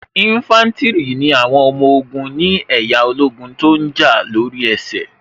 Ínfántìrì ni àwọn ọmọ ogun ni ẹ̀yà ológun tó ǹ jà lóri ẹsẹ̀